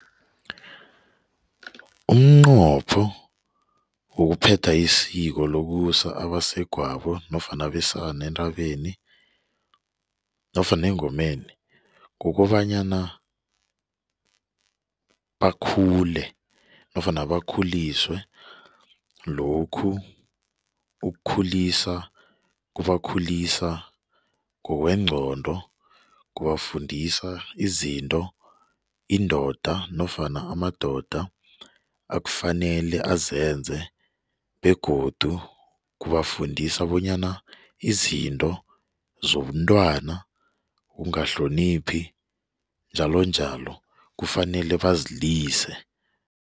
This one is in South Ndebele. Umnqopho wokuphetha isiko lokusa abasegwabo nofana abesana entabeni nofana engomeni kukobanyana bakhule nofana bakhuliswe. Lokhu ukukhulisa kubakhulisa ngokwengcondo kubafundisa izinto indoda nofana amadoda afanele azenze begodu kubafundisa bonyana izinto zobuntwana ukungahloniphi njalo njalo, kufanele bazilise.